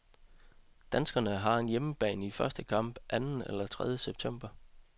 Danskerne har hjemebane i første kamp anden eller tredie september.